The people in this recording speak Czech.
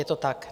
Je to tak?